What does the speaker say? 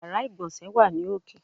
Yàrá ìgbọ̀nsé wà ní òkè.